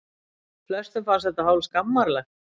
Flestum fannst þetta hálf skammarlegt.